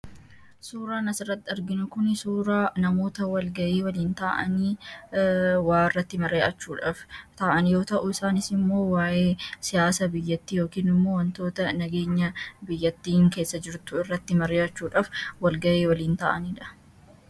suuraa nasaratti arginu kun suuraa namoota walgayii waliin ta’anii waa irratti mare achuudhaaf ta'an yoo ta'uu isaanis immoo waa’ee siyaasa biyyattii yookiinimmoo wantoota nageenya biyyattiin keessa jirtu irratti mari'achuudhaaf walgayii waliin ta'aniidha